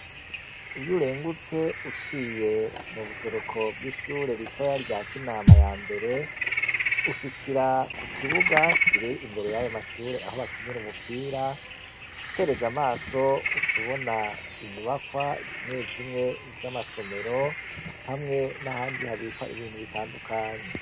Iyo urengutse uciye mu buseruko bw'ishure ritoya rya Kinama ya mbere, ushikira ku kibuga kiri imbere y'ayo mashure aho bakinira umupira. Utereje amaso uca ubona inyubakwa zimwe zimwe z'amasomero hamwe n'ahandi habikwa ibintu bitandukanye.